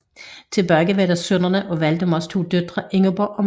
Tilbage var der sønnerne af Valdemars to døtre Ingeborg og Margrete